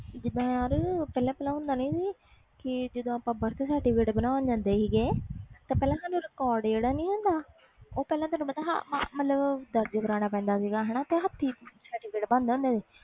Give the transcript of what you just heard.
ਜੀਦਾ ਯਾਰ ਪਹਿਲੇ ਪਹਿਲੇ ਹੁੰਦਾ ਨਹੀਂ ਸੀ ਕਿ ਜਦੋ ਅਸੀਂ birth certificate ਬਨਉਣ ਜਾਂਦੇ ਸੀ ਤਾ ਪਹਿਲੇ record ਕਾਰਨਾਂ ਪੈਂਦਾ ਸੀ ਤੇ ਤੇ ਹੱਥੀਂ ਬਣਦਾ ਹੁੰਦਾ ਸੀ